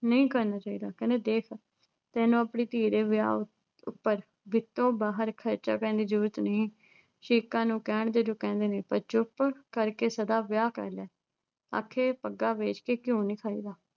ਨਹੀਂ ਕਰਨਾ ਚਾਹੀਦਾ। ਕਹਿੰਦੇ ਵੇਖ ਤੈਨੂੰ ਆਪਣੀ ਧੀ ਦੇ ਵਿਆਹ ਉੱਪਰ ਵਿੱਤੋਂ ਬਾਹਰ ਖਰਚਾ ਕਰਨ ਦੀ ਜਰੂਰਤ ਨਹੀਂ ਐ। ਸ਼ਰੀਕਾਂ ਨੂੰ ਕਹਿਣ ਦੇ ਜੋ ਕਹਿੰਦੇ ਨੇ ਪਰ ਚੁੱਪ ਕਰਕੇ ਸਾਦਾ ਵਿਆਹ ਕਰਲੈ। ਅਖੇ, ਪੱਗਾਂ ਵੇਚ ਕੇ ਘਿਓ ਨਹੀਂ ਖਾਈਦਾ।